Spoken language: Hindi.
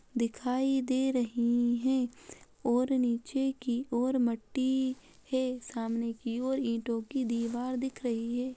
दिखाई दे रही हैं और नीचे की और मट्टी है। सामने की ओर ईटो की दीवार दिख रही है।